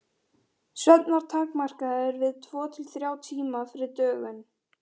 Svefn var takmarkaður við tvo til þrjá tíma fyrir dögun.